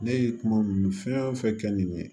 Ne ye kuma fɛn o fɛn kɛ nin ye